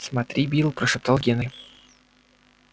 смотри билл прошептал генри